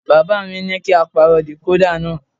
Bàbá mi ní kí á pàrọ̀ decoda náà.